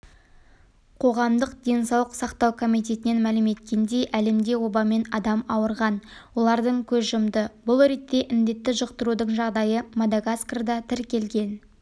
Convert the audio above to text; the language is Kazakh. қоғамдық денсаулық сақтау комитетінен мәлім еткендей әлемде обамен адам ауырған олардың көз жұмды бұл ретте індетті жұқтырудың жағдайы мадагаскарда тіркелген